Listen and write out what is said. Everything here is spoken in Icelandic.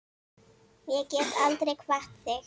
Ég get aldrei kvatt þig.